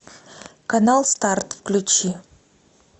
канал старт включи